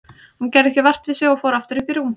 Hún gerði ekki vart við sig og fór aftur upp í rúm.